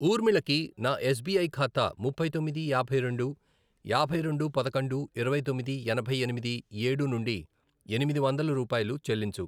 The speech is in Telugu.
ఊర్మిళకి నా ఎస్ బీ ఐ ఖాతా ముప్పై తొమ్మిది, యాభై రెండు, యాభై రెండు, పదకొండు, ఇరవై తొమ్మిది, ఎనభై ఎనిమిది, ఏడు, నుండి ఎనిమిది వందలు రూపాయలు చెల్లించు.